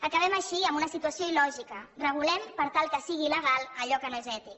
acabem així amb una situació il·lògica regulem per tal que sigui illegal allò que no és ètic